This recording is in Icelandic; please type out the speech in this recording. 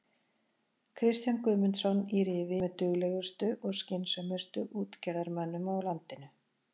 Kristján Guðmundsson í Rifi er með duglegustu og skynsömustu útgerðarmönnum á landinu.